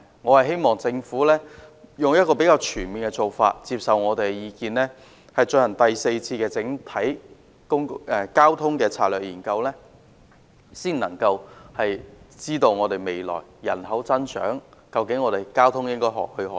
我希望政府採取較全面的做法，接受我們的意見，進行第四次整體交通策略研究，以了解面對未來的人口增長，香港在交通方面應何去何從。